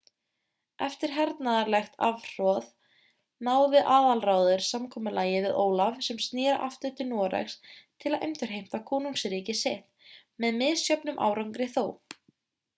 eftir hernaðarlegt afhroð náði aðalráður samkomulagi við ólaf sem snéri aftur til noregs til að endurheimta konungsríki sitt með misjöfnum árangri þó